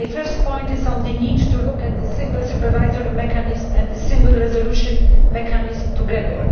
My first point is on the need to look at the Single Supervisory Mechanism and the Single Resolution Mechanism together.